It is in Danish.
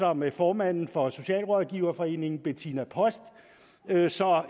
har med formanden for socialrådgiverforeningen betinna post så